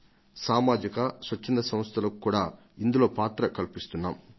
ఇందులో సామాజిక సంస్థలకు స్వచ్ఛంద సంస్థలకు కూడా పాత్ర కల్పిస్తున్నాం